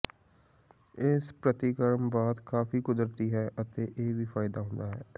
ਇਸ ਪ੍ਰਤੀਕਰਮ ਬਾਅਦ ਕਾਫ਼ੀ ਕੁਦਰਤੀ ਹੈ ਅਤੇ ਇਹ ਵੀ ਫ਼ਾਇਦਾ ਹੁੰਦਾ ਹੈ